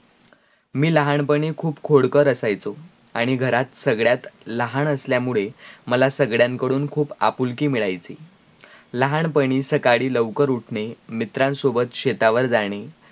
मी लहानपणी खूप खोडकर असायचो आणी घरात सगळ्यात लहाण असल्या मुळे मला सगड्यांकडून खूप आपुलकि मिळायची लहानपणी सकळी लवकर उठणे मित्रान सोबत शेतावर जाणे